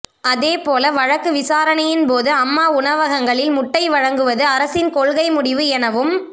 அதேபோல வழக்கு விசாரணையின் போது அம்மா உணவகங்களில் முட்டை வழங்குவது அரசின் கொள்கை முடிவு எனவும்